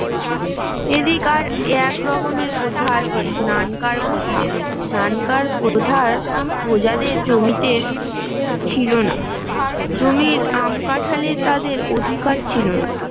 এদিক আরেক রকমের প্রথা আছে নানকার প্রথা নানকার প্রথার প্রজাদের জমিতে ছিল না জমির আম কাঠালে তাদের অধিকার ছিল না